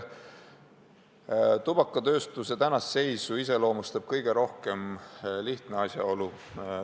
Tubakatööstuse praegust seisu iseloomustab kõige rohkem lihtne asjaolu.